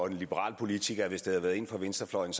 en liberal politiker hvis det havde været en fra venstrefløjen